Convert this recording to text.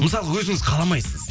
мысалға өзіңіз қаламайсыз